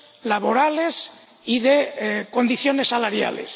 laborales y de condiciones salariales.